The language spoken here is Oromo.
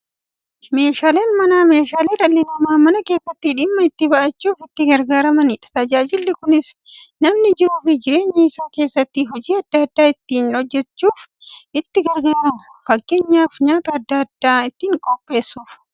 Meeshaaleen Manaa meeshaalee dhalli namaa Mana keessatti dhimma itti ba'achuuf itti gargaaramaniidha. Tajaajilli kunis, namni jiruuf jireenya isaa keessatti hojii adda adda ittiin hojjachuuf itti gargaaramu. Fakkeenyaf, nyaata adda addaa ittiin qopheessuuf.